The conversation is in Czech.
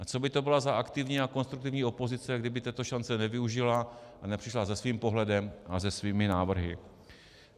A co by to bylo za aktivní a konstruktivní opozici, kdyby této šance nevyužila a nepřišla se svým pohledem a se svými návrhy.